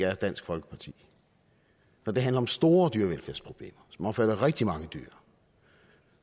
er dansk folkeparti når det handler om store dyrevelfærdsproblemer som omfatter rigtig mange dyr